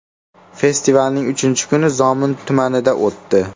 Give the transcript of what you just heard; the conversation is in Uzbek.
Festivalning uchinchi kuni Zomin tumanida o‘tdi.